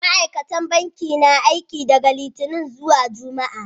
Ma'aikatan banki na aiki daga Littini zuwa Juma'a.